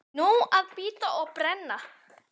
Nóg að bíta og brenna.